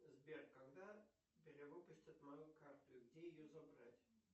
сбер когда перевыпустят мою карту и где ее забрать